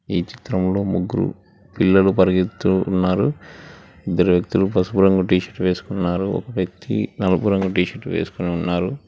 ఈ చిత్రంలో ముగ్గురు పిల్లలు పరిగెత్తుతూ ఉన్నారు ఇద్దరు వ్యక్తులు పసుపు రంగు టీ షర్ట్ వేసుకున్నారు ఒక వ్యక్తి నలుపు రంగు టీ షర్ట్ వేసుకొని ఉన్నారు.